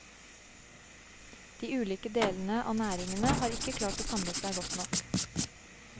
De ulike delene av næringene har ikke klart å samle seg godt nok.